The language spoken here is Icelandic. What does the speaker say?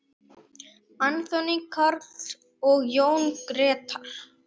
Anthony Karl og Jón Gretar.